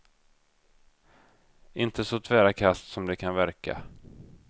Inte så tvära kast som det kan verka.